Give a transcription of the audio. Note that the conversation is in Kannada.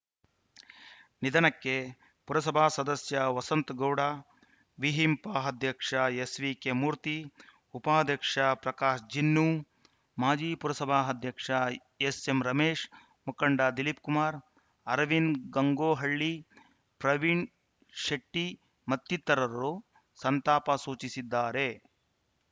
ನಿಧನಕ್ಕೆ ಪುರಸಭಾ ಸದಸ್ಯ ವಸಂತಗೌಡ ವಿಹಿಂಪ ಅಧ್ಯಕ್ಷ ಎಸ್‌ವಿಕೆ ಮೂರ್ತಿ ಉಪಾಧ್ಯಕ್ಷ ಪ್ರಕಾಶ್‌ ಜಿನ್ನು ಮಾಜಿ ಪುರಸಭಾಧ್ಯಕ್ಷ ಎಸ್‌ಎಂ ರಮೇಶ್‌ ಮುಖಂಡ ದಿಲೀಪ್ ಕುಮಾರ್‌ ಅರವಿಂದಗಂಗೊಳ್ಳಿ ಪ್ರವೀಣ ಶೆಟ್ಟಿಮತ್ತಿತರರು ಸಂತಾಪ ಸೂಚಿಸಿದ್ದಾರೆ